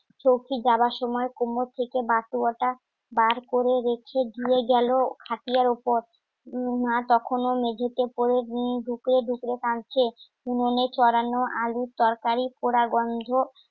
চৌকিদার সময় কোমর থেকে বার করে রেখে দিয়ে গেল হাতিয়ার ওপর মা তখনও মেঝেতে পড়ে ঢুকে ঢুকে কাঁদছে কুমনে ছড়ানো, আলুর তরকারি পোড়া গন্ধ